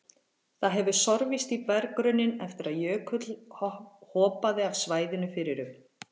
Það hefur sorfist í berggrunninn eftir að jökull hopaði af svæðinu fyrir um